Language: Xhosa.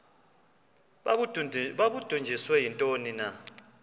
babudunjiswe yintoni na